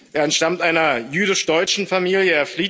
Er entstammt einer jüdisch deutschen Familie.